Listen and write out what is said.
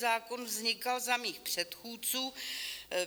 Zákon vznikal za mých předchůdců.